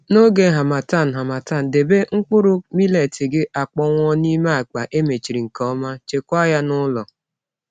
N’oge Harmattan, Harmattan, debe mkpụrụ millet gị akpọnwụ n’ime akpa e mechiri nke ọma, chekwaa ya n’ụlọ.